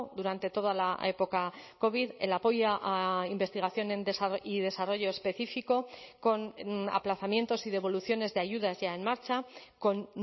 durante toda la época covid el apoyo a investigación y desarrollo específico con aplazamientos y devoluciones de ayudas ya en marcha con